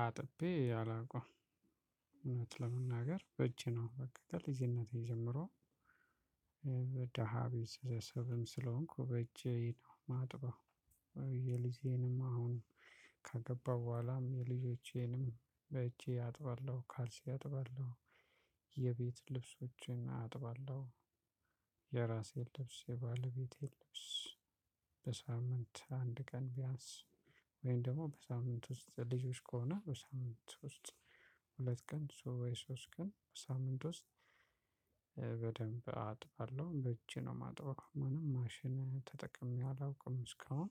አጥቤ አላውቅም እውነት ለመናገር በእጄ ነው። በቃ ከልጅነቴ ጀምሮ። እ ደሃ ቤተሰብም ስለሆንኩ በእጄ ነው ማጥበው። እ የልጄንም አሁን ካገባው በኋላም የልጆቼንም በእጄ አጥባለሁ። ካልሲ አጥባለሁ። የቤት ልብሶችን አጥባለሁ። የራሴን ልብስ የባለቤቴን ልብስ። በሳሙና አንድ ቀን ቢያንስ ወይም ደግሞ በሳምንት ውስጥ ልጆች ከሆነ በሳምንት ውስጥ። ሁለት ቀን ወይ ሶስት ቀን ሳምንት ውስጥ እ በደንብ አጥባለሁ። በእጅ ነው ማጥበው ምንም ማሽን ተጠቅሜ አላውቅም እስካሁን።